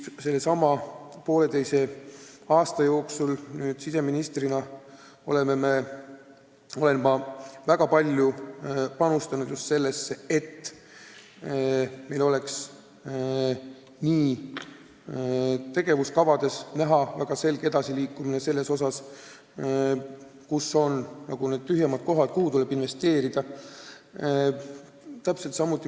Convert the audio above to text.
Sellesama poolteise aasta jooksul olen ma siseministrina väga palju panustanud just sellesse, et meil oleks ka tegevuskavades näha väga selge edasiliikumine selles osas, kus meil on investeeringute mõttes tühjemad kohad.